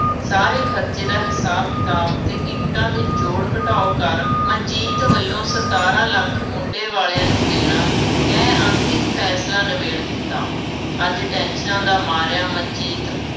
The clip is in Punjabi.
ਸਾਰੇ ਖਰਚੇ ਦਾ ਹਿਸਾਬ-ਕਿਤਾਬ ਅਤੇ ਗਿਫਟਾਂ ਦੇ ਜੋੜ-ਘਟਾਓ ਕਰ, ਮਨਜੀਤ ਵੱਲੋਂ ਸਤਾਰਾਂ ਲੱਖ ਮੁੰਡੇ ਵਾਲਿਆ ਨੂੰ ਦੇਣਾ, ਕਹਿ ਅੰਤਿਮ ਫੈਸਲਾ ਨਿਬੇੜ ਦਿੱਤਾ। ਅੱਜ ਟੈਨਸ਼ਨਾਂ ਦਾ ਮਾਰਿਆ ਮਨਜੀਤ